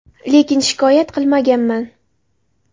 Lekin shikoyat qilmaganman.